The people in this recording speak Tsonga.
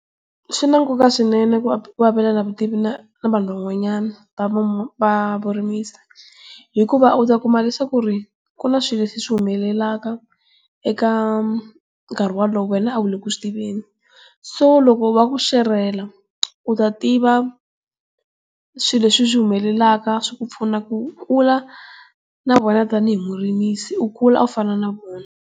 Swi na nkoka swinene ku ku avelana vutivi na na vanhu van'wanyana va va vurimisi. Hikuva u ta kuma leswaku ri ku na swilo leswi swi humelelaka eka nkarhi wolowo wena a wu le ku swi tiveni. So loko va ku xerhela u ta tiva swilo leswi swi humelelaka swi ku pfuna ku kula na vona tanihi murimisi u kula u fana na vona.